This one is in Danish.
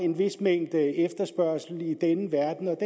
en vis mængde efterspørgsel i denne verden og